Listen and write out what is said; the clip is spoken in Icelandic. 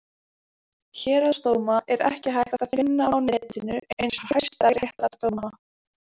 Héraðsdóma er ekki hægt að finna á netinu eins og hæstaréttardóma.